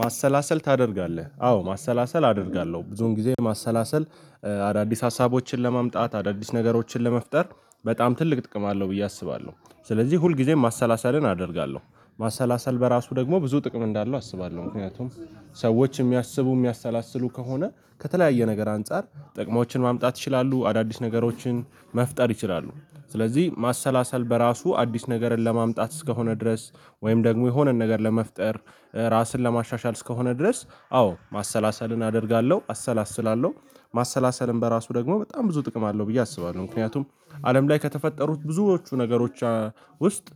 ማሰላሰል ታደርጋለህ አዎ ማሰላሰል አደርጋለሁ ብዙን ጊዜ ማሰላሰል አዳዲስ ሀሳቦችን ለማምጣት አዳዲስ ነገሮችን ለመፍጠር በጣም ትልቅ ጥቅም አለው ብዬ አስባለሁ ስለዚህ ሁል ጊዜም ማሰላሰልን አደርጋለሁ። ማሰላሰል በራሱ ደግሞ ብዙ ጥቅም እንዳለው አስባለሁ ምክንያቱም ሰዎች የሚያስቡ የሚያሰላስሉ ከሆነ ከተለያየ ነገር አንፃር ጥቅሞችን ማምጣት ይችላሉ አዳዲስ ነገሮችን መፍጠር ይችላሉ። ስለዚህ ማሰላሰል በራሱ አዲስ ነገርን ለማምጣት እስከሆነ ድረስ ወይም ደግሞ የሆነን ነገር ለመፍጠር ራስን ለማሻሻል እስከሆነ ድረስ አዎ ማሰላሰልን አደርጋለሁ አሰላስላለሁ። ማሰላሰልም በራሱ ደግሞ በጣም ብዙ ጥቅም አለው ብዬ አስባለሁ። ምክንያቱም አለም ላይ ከተፈጠሩት ብዙዎቹ ነገሮች ውስጥ